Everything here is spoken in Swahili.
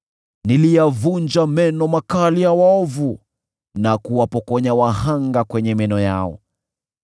Niliyavunja meno makali ya waovu, na kuwapokonya wahanga kwenye meno yao.